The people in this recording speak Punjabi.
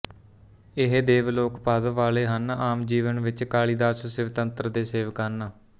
ਇਹ ਦੇਵ ਲੋਕ ਪਦ ਵਾਲੇ ਹਨ ਆਮ ਜੀਵਨ ਵਿੱਚ ਕਾਲੀਦਾਸ ਸ਼ਿਵਤੰਤਰ ਦੇ ਸੇਵਕ ਹਨ